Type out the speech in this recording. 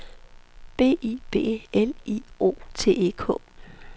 B I B L I O T E K